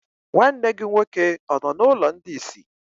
Nwanne gị nwoke ọ nọ n'ụlọ ndị isi?